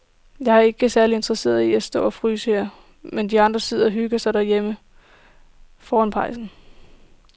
Jeg er ikke særlig interesseret i at stå og fryse her, mens de andre sidder og hygger sig derhjemme foran pejsen.